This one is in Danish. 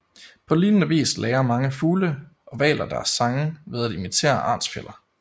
På lignende vis lærer mange fugle og hvaler deres sange ved at imitere artsfæller